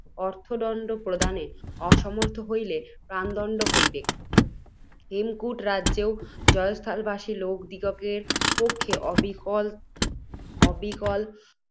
অর্থদণ্ড প্রদানে অসমর্থ হইলে প্রাণদণ্ড, হইবে। হেমকূটরাজ্যে ও, জয়স্থলবাসী লোকদিগের পক্ষে, অবিকল